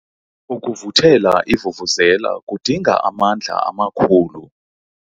Ukuvuthela ivuvuzela kudinga amandla amakhulu.